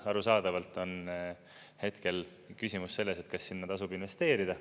Arusaadavalt on hetkel küsimus selles, et kas sinna tasub investeerida.